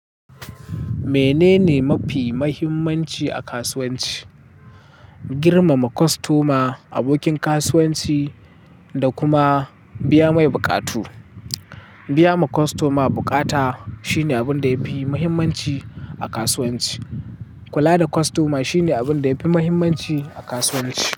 Menene mafi muhimmanci a kasuwanci? Girmama kostoma, abokin kasuwanci da kuma biya mai buƙatu. Biya ma kostoma bukata shine abin da yafi muhimmanci a kasuwanci. Kula da kostoma shine abin da yafi muhimmanci a kasuwanci.